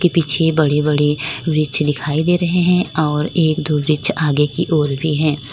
के पीछे बड़े बड़े वृक्ष दिखाई दे रहे हैं और एक दो वृक्ष आगे की ओर भी हैं।